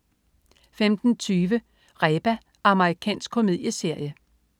15.20 Reba. Amerikansk komedieserie